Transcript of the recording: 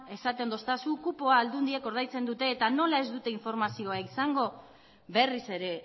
esaten didazu kupoa aldundiak ordaintzen dute eta nola ez dute informazioa izango berriz ere